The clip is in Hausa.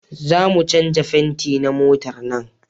Za mu canja fenti na motar nan